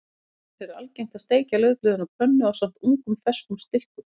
Auk þess er algengt að steikja laufblöðin á pönnu ásamt ungum ferskum stilkum.